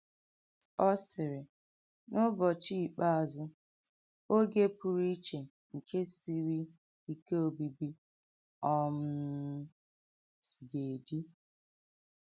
Ọ sịrị: “N’ụ́bọ̀chí ikpeazụ́, ògé pụrụ íché nke sịrì íké òbíbí um gà-édì.”